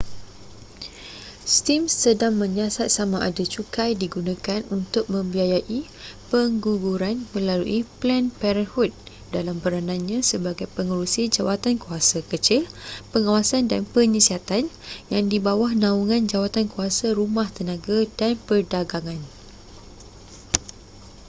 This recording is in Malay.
steam sedang menyiasat samada cukai digunakan untuk membiayai pengguguran melalui planned parenthood dalam peranannya sebagai pengerusi jawatankuasa kecil pengawasan dan penyiasatan yang di bawah naungan jawatankuasa rumah tenaga dan perdagangan